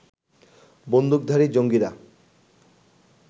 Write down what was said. বন্দুকধারী জঙ্গিরা